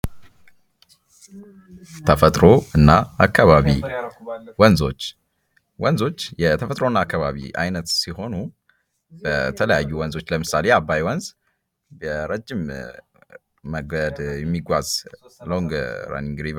ተፈጥሮ እና አካባቢ ፦ ወንዞች ፦ ወንዞች የተፈጥሮ እና አካባቢ አይነት ሲሆኑ በተለያዩ ወንዞች ለምሳሌ የአባይ ወንዝ ረጅም መንገድ የሚጓዝ ሎንግ ራኑንግ ሪቨር